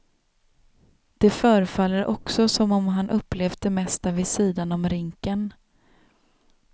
Det förefaller också som om han upplevt det mesta vid sidan om rinken.